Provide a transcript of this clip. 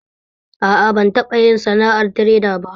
A a, ban taɓa yin sana'ar tireda ba